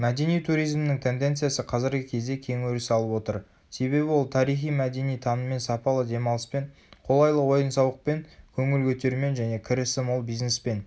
мәдени туризмнің тенденциясы қазіргі кезде кең өріс алып отыр себебі ол тарихи-мәдени таныммен сапалы демалыспен қолайлы ойын-сауықпен көңіл көтерумен және кірісі мол бизнеспен